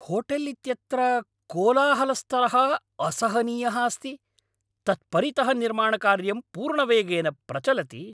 Hotel इत्यत्र कोलाहलस्तरः असहनीयः अस्ति, तत् परितः निर्माणकार्यं पूर्णवेगेन प्रचलति।